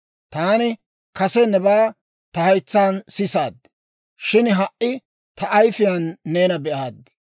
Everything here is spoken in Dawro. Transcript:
«Taani kase nebaa ta haytsaan sisaad; shin ha"i ta ayifiyaan neena be'aad.